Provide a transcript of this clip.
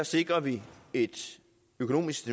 sikrer vi et økonomisk